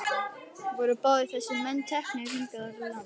Voru báðir þessir menn teknir hingað í land.